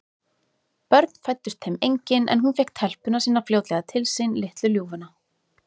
Börn fæddust þeim engin, en hún fékk telpuna sína fljótlega til sín, litlu ljúfuna.